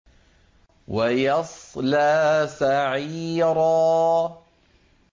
وَيَصْلَىٰ سَعِيرًا